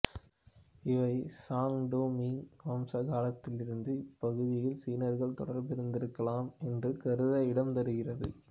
இவை Song to Ming வம்ச காலத்திலிருந்து இந்தப்பகுதியில் சீனர்கள் தொடர்பிலிருந்திருக்கலாம் என்று கருத இடம் தருகிறது